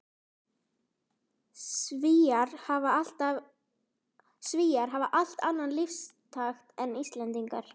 Svíar hafa allt annan lífstakt en Íslendingar.